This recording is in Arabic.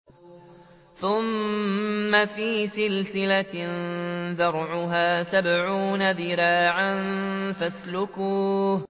ثُمَّ فِي سِلْسِلَةٍ ذَرْعُهَا سَبْعُونَ ذِرَاعًا فَاسْلُكُوهُ